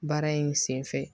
Baara in sen fɛ